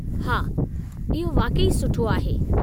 हा, इहो वाक़ई सुठो आहे।